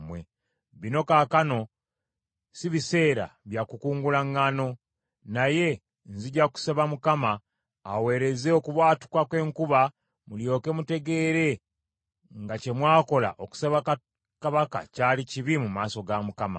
Bino kaakano si biseera bya kukungula ŋŋaano. Naye nzija kusaba Mukama , aweereze okubwatuka n’enkuba, mulyoke mutegeere nga kye mwakola okusaba kabaka kyali kibi mu maaso ga Mukama .”